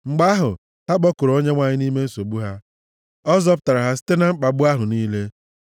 Mgbe ahụ, ha kpọkuru Onyenwe anyị nʼime nsogbu ha ọ zọpụtara ha site na mkpagbu ahụ niile.